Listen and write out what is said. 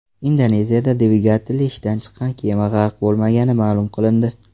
Indoneziyada dvigateli ishdan chiqqan kema g‘arq bo‘lmagani ma’lum qilindi.